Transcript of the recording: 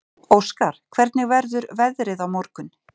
Óskar, hvernig verður veðrið á morgun?